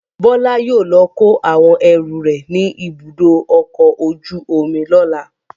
Bọ́lá yóò lọ kó àwọn ẹrù rẹ̀ ní Ibùdó-ọkọ̀ ojú-omi lọ́la.